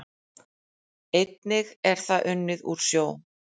Einnig er það unnið úr sjó